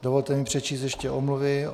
Dovolte mi přečíst ještě omluvy.